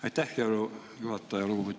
Aitäh, hea juhataja!